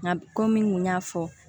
Nka komi n kun y'a fɔ